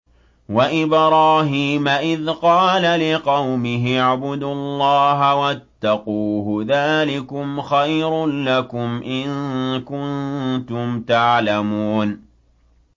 وَإِبْرَاهِيمَ إِذْ قَالَ لِقَوْمِهِ اعْبُدُوا اللَّهَ وَاتَّقُوهُ ۖ ذَٰلِكُمْ خَيْرٌ لَّكُمْ إِن كُنتُمْ تَعْلَمُونَ